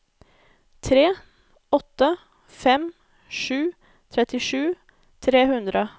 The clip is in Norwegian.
tre åtte fem sju trettisju tre hundre